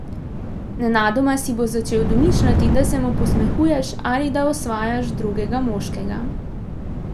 Nenadoma si bo začel domišljati, da se mu posmehuješ ali da osvajaš drugega moškega.